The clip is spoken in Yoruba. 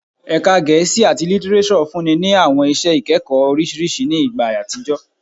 Ẹka Ẹka Gẹẹsi ati Litireso funni ni awọn iṣẹ ikẹkọ oriṣiriṣi ni igba atijọ